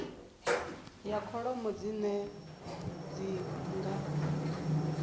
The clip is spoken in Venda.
ya kholomo dzine dzi nga